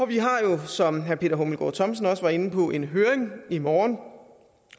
vi har jo som herre peter hummelgaard thomsen også var inde på en høring i morgen